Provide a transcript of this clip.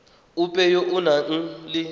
ope yo o nang le